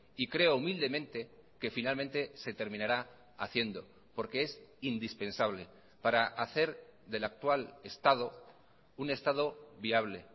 y creo humildemente que finalmente se terminará haciendo porque es indispensable para hacer del actual estado un estado viable